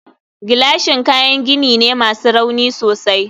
gilashin kayan gini ne masu rauni sosai